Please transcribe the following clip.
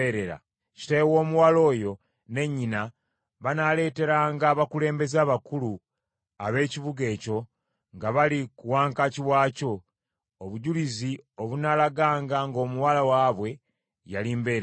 Kitaawe w’omuwala oyo ne nnyina banaaleeteranga abakulembeze abakulu ab’ekibuga ekyo, nga bali ku wankaaki waakyo, obujulizi obunaalaganga ng’omuwala waabwe yali mbeerera.